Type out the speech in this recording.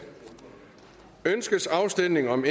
ønskes afstemning om